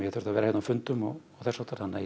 þurft að vera hérna á fundum þannig að ég